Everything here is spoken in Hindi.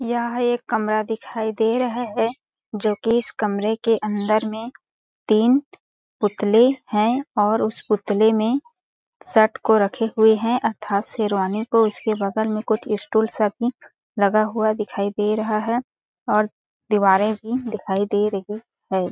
यह एक कमरा दिखाई दे रहा है जोकी इस कमरे के अंदर में तीन पुतले है और उस पुतले में शर्ट को रखे हुए है तथा शेरवानी को उसके बगल में कुछ स्टूल सब भी लगा हुआ दिखाई दे रहा है और दिवारे भी दिखाई दे रही है ।